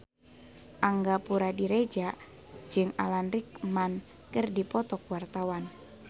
Angga Puradiredja jeung Alan Rickman keur dipoto ku wartawan